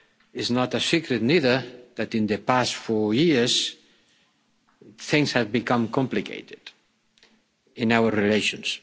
It's not a secret either that in the past four years things have become complicated in our relations.